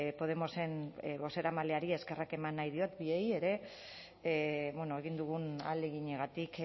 podemosen bozeramaileari eskerrak eman nahi diet bioei ere egin dugun ahaleginagatik